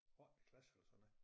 Ottende klasse eller sådan noget